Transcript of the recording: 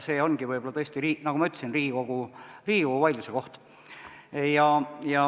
See ongi võib-olla tõesti, nagu ma ütlesin, Riigikogu vaidluse koht.